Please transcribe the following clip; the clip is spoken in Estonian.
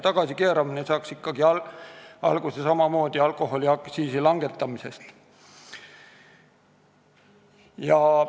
Tagasikeeramine saaks ikkagi alguse samamoodi alkoholiaktsiisi langetamisest.